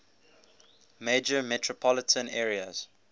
major metropolitan areas